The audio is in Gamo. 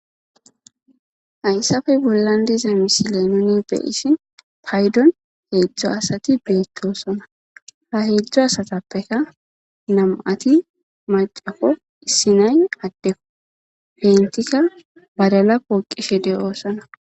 haysappe bollan diza misile nuni be7shimi paydon heedzdzo asati beettosona. ha heedzdzo asatappeka nam7ati macappo issinay addeppo bentikka badala poqishe de7oosona.